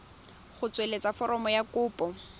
go tsweletsa foromo ya kopo